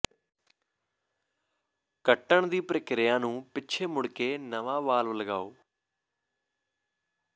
ਕੱਟਣ ਦੀ ਪ੍ਰਕਿਰਿਆ ਨੂੰ ਪਿੱਛੇ ਮੁੜ ਕੇ ਨਵਾਂ ਵਾਲਵ ਲਗਾਓ